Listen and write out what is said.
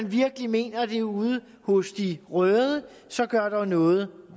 virkelig mener det ude hos de røde så gør dog noget ved